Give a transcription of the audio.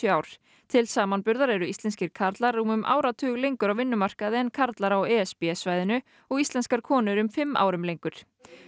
ár til samanburðar eru íslenskir karlar rúmum áratug lengur á vinnumarkaði en karlar á e s b svæðinu og íslenskar konur um fimm árum lengur